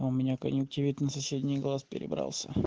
у меня конъюнктивит на соседний глаз перебрался